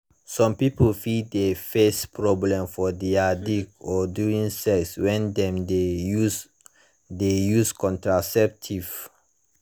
some people fit de face problem for their dick or during sex when dem de use de use contraceptives